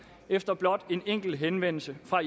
efter blot en enkelt henvendelse fra